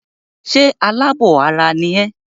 Ṣé alábọ̀ ara ni ẹ́?